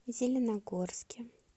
зеленогорске